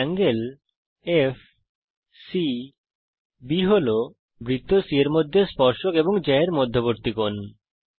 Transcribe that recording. ∠FCB বৃত্ত c এর মধ্যে জ্যা এর দ্বারা অন্তর্লিখিত কোণ